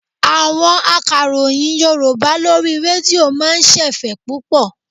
Àwọn akàròyìn Yorùbá lórí rédíò máa ń ṣẹ̀fẹ̀ púpọ̀.